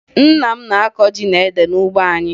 Nna m na-akọ ji na ede n'ugbo anyị